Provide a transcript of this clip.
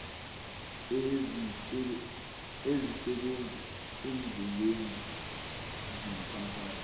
ezisebenza eendleleni zomphakathi